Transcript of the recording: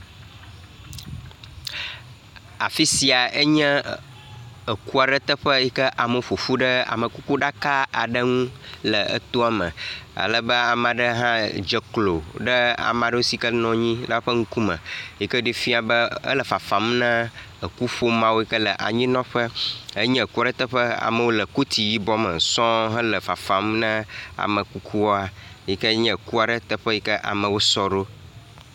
A…afi sia enye eku aɖe teƒe yi ke amewo ƒoƒu ɖe amekukuɖaka aɖe ŋu le etoame, alebe ame aɖe hã dze klo ɖe ame aɖewo si ke nɔ anyi la ƒe ŋkume, yi ke ɖee fia be e…ele fafam na ekuƒomea yi ke le anyinɔƒe. Enye eku aɖe teƒe amewo le koti yibɔ me sɔŋ hele fafam ne amekukua yi ke nye ku aɖe teƒe yi ke amewo sɔ ɖo.